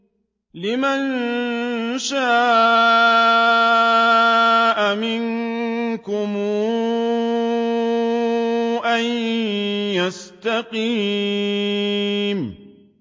لِمَن شَاءَ مِنكُمْ أَن يَسْتَقِيمَ